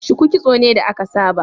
Shuku kitso ne da aka saba